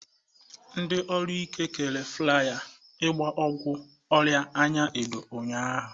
Ndị ọrụ ahụike kere flaya ịgba ọgwụ ọrịa anya odo ụnyaahụ.